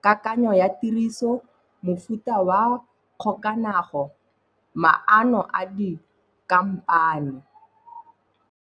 kakanyo ya tiriso, mofuta wa kgokaganyo, maano a di kamano.